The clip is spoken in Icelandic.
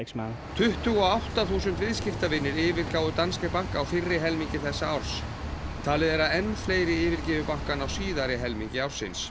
tuttugu og átta þúsund viðskiptavinir yfirgáfu Danske Bank á fyrri helmingi þessa árs talið er að enn fleiri yfirgefi bankann á síðari helmingi ársins